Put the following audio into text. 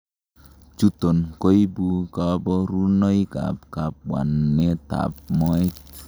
Chuton koibu koborunoikab kabwanetab moet.